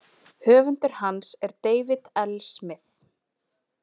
Höfundur hans er David L Smith.